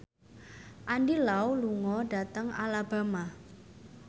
Andy Lau lunga dhateng Alabama